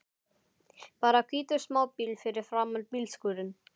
Bara hvítur smábíll fyrir framan bílskúrinn!